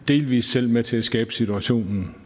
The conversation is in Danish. delvis selv med til at skabe situationen